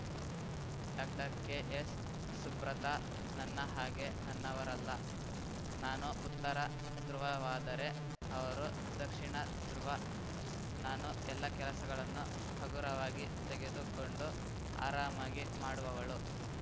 doctor K S Shubhrata ನನ್ನ ಹಾಗೆ ನನ್ನವರಲ್ಲ ನಾನು ಉತ್ತರ ಧ್ರುವವಾದರೆ ಅವರು ದಕ್ಷಿಣ ಧ್ರುವ ನಾನು ಎಲ್ಲ ಕೆಲಸಗಳನ್ನು ಹಗುರವಾಗಿ ತೆಗೆದುಕೊಂಡು ಆರಾಮವಾಗಿ ಮಾಡುವವಳು